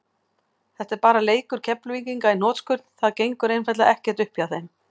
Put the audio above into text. Þetta er bara leikur Keflvíkinga í hnotskurn, það gengur einfaldlega ekkert upp hjá þeim.